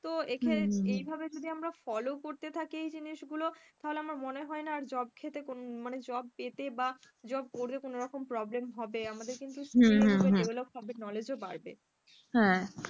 তো এই ক্ষে~ এই হবে যদি আমরা follow করতে থাকে এই জিনিসগুলো তাহলে আমার মনে হয় না আর job ক্ষেত্রে মানে job পেতে বা কোন রকম problem হবে knowledge ও বাড়বে,